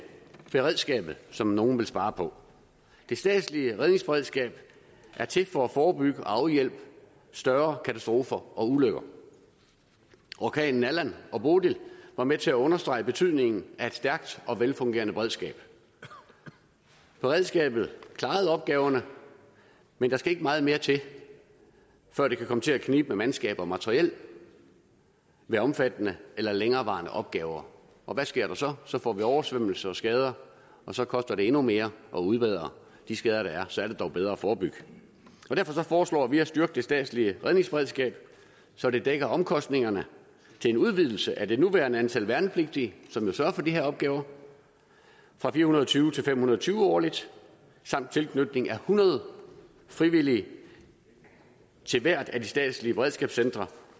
beredskabet som nogle vil spare på det statslige redningsberedskab er til for at forebygge og afhjælpe større katastrofer og ulykker orkanerne allan og bodil var med til at understrege betydningen af et stærkt og velfungerende beredskab beredskabet klarede opgaverne men der skal ikke meget mere til før det kan komme til at knibe med mandskab og materiel ved omfattende eller længerevarende opgaver og hvad sker der så så får vi oversvømmelser og skader og så koster det endnu mere at udbedre de skader der er så er det dog bedre at forebygge derfor foreslår vi at styrke det statslige redningsberedskab så det dækker omkostningerne til en udvidelse af det nuværende antal værnepligtige som jo sørger for de her opgaver fra fire hundrede og tyve til fem hundrede og tyve årligt samt tilknytning af hundrede frivillige til hvert af de statslige beredskabscentre